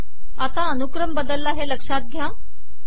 आता अनुक्रम बदलला हे लक्ष्यात घ्या